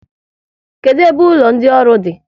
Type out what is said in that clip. Kedụ ebe ụlọ ndị ọrụ di?